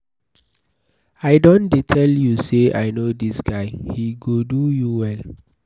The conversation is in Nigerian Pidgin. I don tell you say I know dis guy, he go do you well.